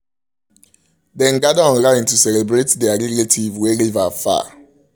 dem gather online to celebrate der relative wey live um far